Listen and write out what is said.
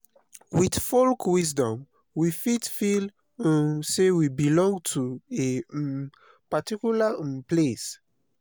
with folk wisdom we fit feel um say we belong to a um particular um place